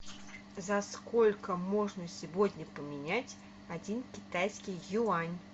за сколько можно сегодня поменять один китайский юань